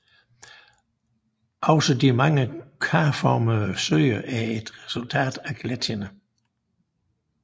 Også de mange karformede søer er et resultat af gletsjerne